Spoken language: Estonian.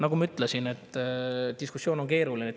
Nagu ma ütlesin, diskussioon on keeruline.